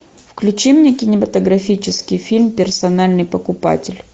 включи мне кинематографический фильм персональный покупатель